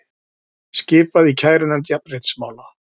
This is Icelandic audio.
Skipað í kærunefnd jafnréttismála